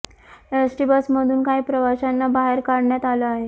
ST bus मधून काही प्रवाशांना बाहेर काढण्यात आलं आहे